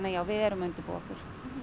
já við erum að undirbúa okkur